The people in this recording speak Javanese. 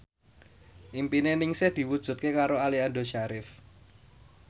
impine Ningsih diwujudke karo Aliando Syarif